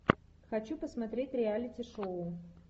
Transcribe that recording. хочу посмотреть реалити шоу